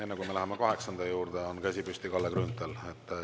Enne, kui me läheme kaheksanda juurde, on käsi püsti Kalle Grünthalil.